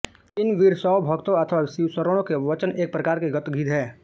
इन वीरशैव भक्तों अथवा शिवशरणों के वचन एक प्रकार के गद्यगीत हैं